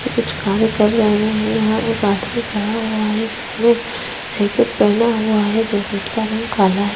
पीछे कुछ कार्य कर रहे हैं यहाँ पर एक आदमी खड़ा हुआ है जिसने जैकेट पहना हुआ है जैकेट का रंग काला है।